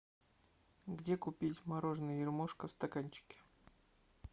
где купить мороженое ермошка в стаканчике